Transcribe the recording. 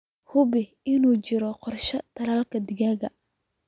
Hubi in uu jiro qorshaha tallaalka digaaga.